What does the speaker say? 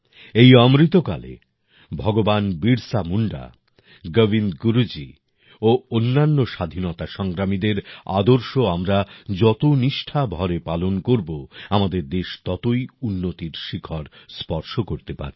এই অমৃতকালে ভগবান বিরসা মুন্ডা গোবিন্দ গুরুজী ও অন্যান্য স্বাধীনতা সংগ্রামীদের আদর্শ আমরা যত নিষ্ঠা ভরে পালন করব আমাদের দেশ ততই উন্নতির শিখর স্পর্শ করতে পারবে